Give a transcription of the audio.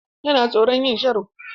Yana tsoron yin sharo.